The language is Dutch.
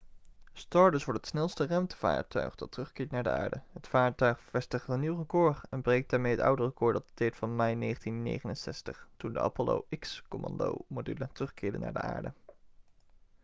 stardust wordt het snelste ruimtevaartuig dat terugkeert naar de aarde het vaartuig vestigt een nieuw record en breekt daarmee het oude record dat dateert van mei 1969 toen de apollo x-commandomodule terugkeerde naar de aarde